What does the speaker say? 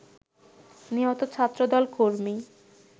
নিহত ছাত্রদল কর্মী